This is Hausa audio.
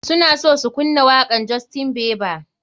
Suna so su kunna wakan justien bieber.